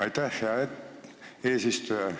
Aitäh, hea eesistuja!